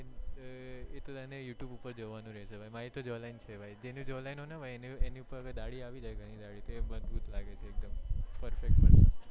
એ તો તને youtube ઉપ્પર જવાનું રેહશે મારી તો જો line છે ભાઈ જેન જો line એની ઉપ્પર ડાઢી આવી જાય ગણી ડાઢી આવી જાય મજબૂત લાગે છે એકદમ perfect person